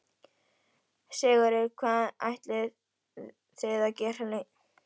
Sigurður: Hvað ætlið þið að vera lengi hérna?